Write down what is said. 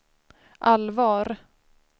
allvar